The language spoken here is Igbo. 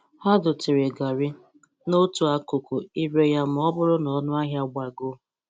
Ha dotere gari n'otu akụkụ ire ya ma ọ bụrụ ọnụ ahịa ya gbagoo.